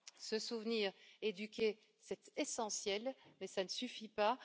Se souvenir, éduquer, c'est essentiel, mais ça ne suffit pas.